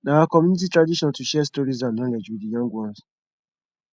na our community tradition to share stories and knowledge wit di young ones